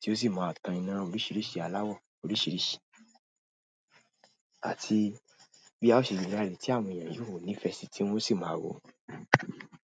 tí ó sì máa tan ìna oríṣìíríṣìí aláwọ̀ oríṣìíríṣìí àti bí a ṣe lè rerin tí àwọn èèyàn yóò nífẹ̀ẹ́ sí tí wọ́n sì máa wò ó.